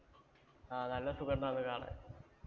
ആഹ് നല്ല സുഖം ഉണ്ടാരുന്നു കാണാൻ.